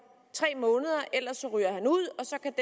tre måneder ellers ryger han ud og så kan